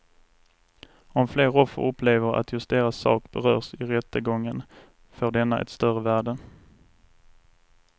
Om fler offer upplever att just deras sak berörs i rättegången får denna ett större värde.